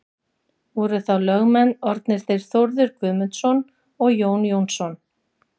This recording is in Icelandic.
Voru þá lögmenn orðnir þeir Þórður Guðmundsson og Jón Jónsson.